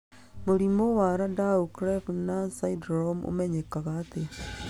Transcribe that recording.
Mũrimũ wa Landau Kleffner syndrome ũmenyekaga atĩa?